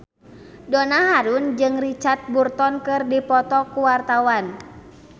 Donna Harun jeung Richard Burton keur dipoto ku wartawan